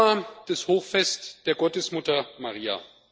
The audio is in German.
1. Januar das Hochfest der Gottesmutter Maria.